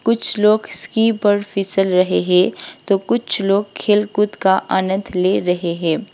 कुछ लोग स्की पर फिसल रहे है तो कुछ लोग खेल कूद का आनंद ले रहे है।